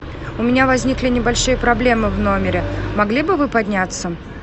у меня возникли небольшие проблемы в номере могли бы вы подняться